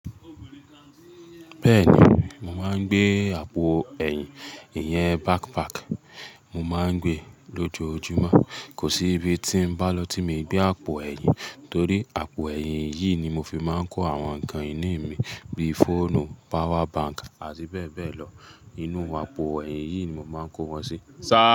Bẹ́ẹ̀ni, mò ń gbé àpò ẹ̀yìn, iyẹn bakpaki, mò ń gbé lójoojúmọ́. Kò sí ibi tí n bá lọ tí mi gbé àpò ẹ̀yìn torí àpò ẹ̀yìn yìí ni mo fi máa ń kó àwọn nǹkan ìní mi bí i fóònù, pawa bank àti bẹ́ẹ̀ bẹ́ẹ̀ lọ. Inú àpò ẹ̀yìn yìí ni mò ń máa kó wọn si.